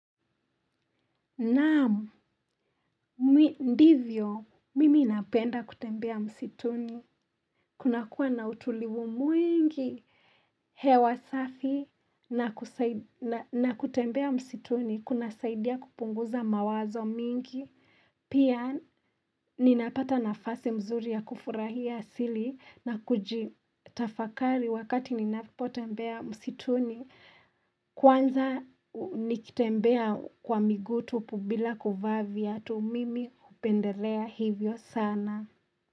Naamu, ndivyo, mimi napenda kutembea msituni, kunakua na utulivu mwingi, hewa safi, na kutembea msituni, kuna saidia kupunguza mawazo mingi. Pia ninapata nafasi mzuri ya kufurahia asili na kujitafakari wakati ninapotembea msituni kwanza nikitembea kwa miguu tupu bila kuvaa viatu mimi hupendelea hivyo sana.